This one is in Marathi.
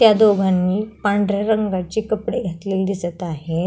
त्या दोघानी पांढऱ्या रंगाची कपडे घातलेली दिसत आहे.